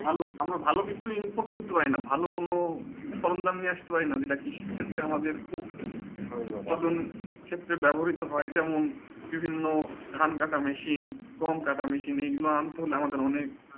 আমরা ভালো কিছু ইম্পোর্ট করতে করতে পারি কোনো সরল দাম নিয়ে আসতে পারি যেটা কৃষি ক্ষেত্রে আমাদের খুব উৎপাদন ক্ষেত্রে ব্যবহৃত হয়ে যেমন বিভিন্ন ধান কাটা মেশিন গম কাটা মেশিন মানে এই গুলু আনতে গেলে আমাদের অনেক